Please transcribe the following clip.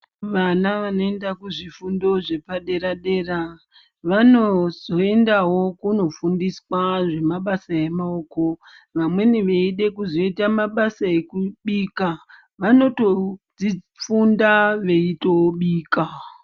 Vana vanoenda kuzvifundo zvepadera dera vanozoendawo kunofundiswa mabasa emaoko vamweni veide kuzoita mabasa ekubika vanotodzi funda veitobika.